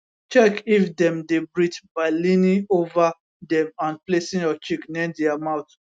check if dem dey breathe by leaning ova dem and placing your cheek near dia mouth